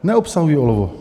Neobsahují olovo.